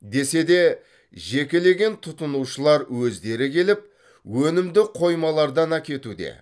десе де жекелеген тұтынушылар өздері келіп өнімді қоймалардан әкетуде